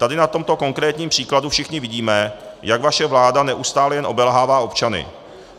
Tady na tomto konkrétním příkladu všichni vidíme, jak vaše vláda neustále jen obelhává občany.